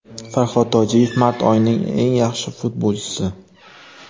Farhod Tojiyev mart oyining eng yaxshi futbolchisi.